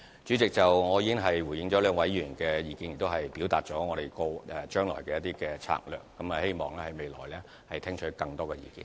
主席，我已回應兩位議員的意見，亦表達我們將來的一些策略，希望在未來聽取更多的意見。